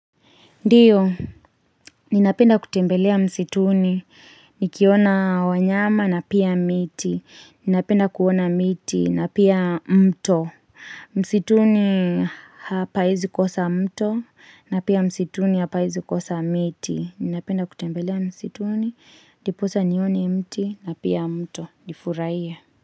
Ndiyo, ninapenda kutembelea msituni, nikiona wanyama na pia miti, ninapenda kuona miti na pia mto. Msituni hapaezi kosa mto na pia msituni hapaezi kosa miti, ninapenda kutembelea msituni, diposa nione mti na pia mto, nifurahiye.